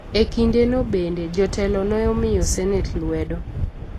E kindeno bende, jotelo ne omiyo Senet lwedo .